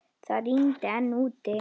Það rigndi enn úti.